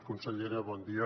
consellera bon dia